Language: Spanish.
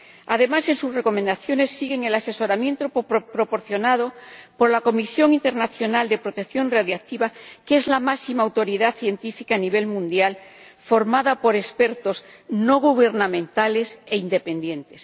Además, en sus recomendaciones siguen el asesoramiento proporcionado por la Comisión Internacional de Protección Radiológica, que es la máxima autoridad científica a nivel mundial, formada por expertos no gubernamentales e independientes.